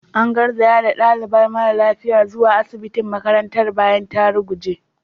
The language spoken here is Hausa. An garzaya da dalibar mara lafiyar zuwa asibitin makarantar bayan ta ruguje.